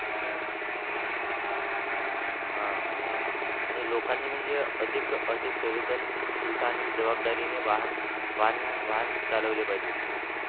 हा आणि लोकांनी म्हणजे अधिक अधिक संवेदन शीलता आणि जबाबदारीने वाहन वाहन वाहन चालवले पाहिजे.